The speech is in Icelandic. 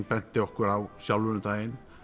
benti okkur á sjálfur um daginn